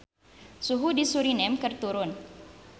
Suhu di Suriname keur turun